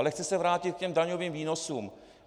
Ale chci se vrátit k těm daňovým výnosům.